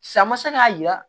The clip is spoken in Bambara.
San ma se k'a jira